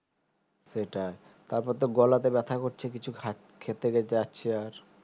সেটায় তারপর তো গলাতে ব্যথা করছে কিছু খেতে যাচ্ছি আর